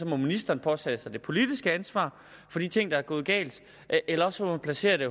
må ministeren påtage sig det politiske ansvar for de ting der er gået galt eller også må man placere det